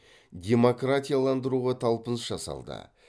демократияландыруға талпыныс жасалды